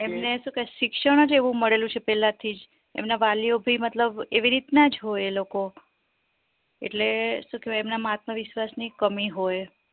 એમને શું કે કે શિક્ષણજ એવું મળેલું છે પેલા થીજ એમના વાલીઓ મતલબ એવી રીત્નાજ હોય એ લોકો એટલે શું કેવાય એમના માં આત્મવિશ્વાસ ની કમી હોય